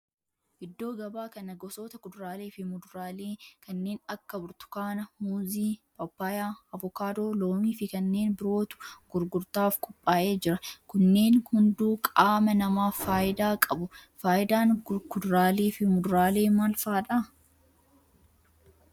Iddoo gabaa kana gosoota kuduraalee fi muduraalee kanneen akka burtukaana, muuzii, paappayyaa, avokaadoo, loomii fi kanneen birootu gurgurtaaf qophaa'ee jira. Kunneen hunduu qaama namaaf faayidaa qabu. Faayidaan kuduraalee fi muduraalee maal fa'aadha?